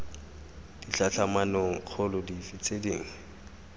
ditlhatlhamanong kgolo dife tse dingwe